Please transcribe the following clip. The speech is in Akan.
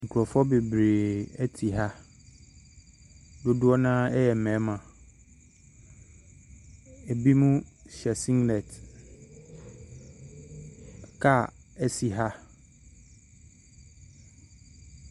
Nkurɔfoɔ bebree te ha. Dodoɔ no ara yɛ mmarima. Ebinom hyɛ singlet. Kaa si ha.